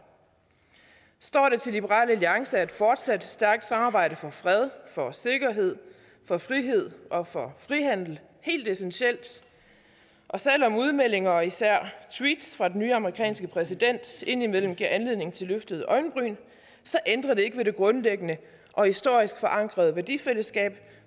står det til liberal alliance er et fortsat stærkt samarbejde for fred for sikkerhed for frihed og for frihandel helt essentielt og selv om udmeldinger og især tweets fra den nye amerikanske præsident indimellem giver anledning til løftede øjenbryn ændrer det ikke ved det grundlæggende og historisk forankrede værdifællesskab